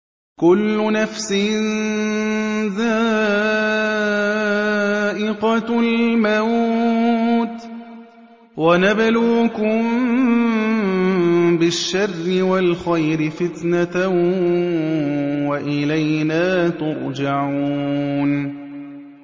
كُلُّ نَفْسٍ ذَائِقَةُ الْمَوْتِ ۗ وَنَبْلُوكُم بِالشَّرِّ وَالْخَيْرِ فِتْنَةً ۖ وَإِلَيْنَا تُرْجَعُونَ